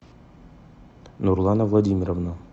нурлана владимировна